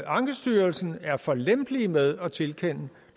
ankestyrelsen er for lempelige med at tilkende